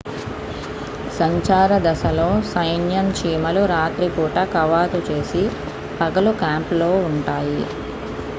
సంచార దశలో సైన్యం చీమలు రాత్రి పూట కవాతు చేసి పగలు క్యాంపులో ఉంటాయి